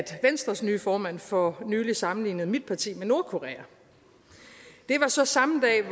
venstres nye formand for nylig sammenlignede mit parti med nordkorea det var så samme dag